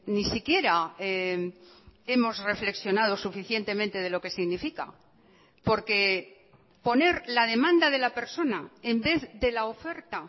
ni siquiera hemos reflexionado suficientemente de lo que significa porque poner la demanda de la persona en vez de la oferta